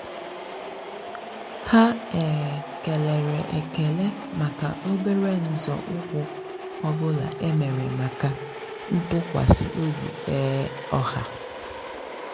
há um kélèrè ékélè màkà óbérè nzọ́ụ́kwụ́ ọ́ bụ́lá é mèrè màkà ntụ́kwasị́ óbí um ọ́há.